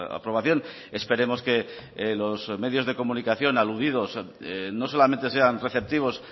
aprobación esperemos que los medios de comunicación aludidos no solamente sean receptivos